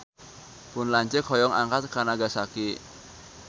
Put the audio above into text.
Pun lanceuk hoyong angkat ka Nagasaki